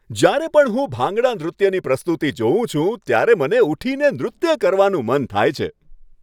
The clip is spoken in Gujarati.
જ્યારે પણ હું ભાંગડા નૃત્યની પ્રસ્તુતિ જોઉં છું, ત્યારે મને ઊઠીને નૃત્ય કરવાનું મન થાય છે.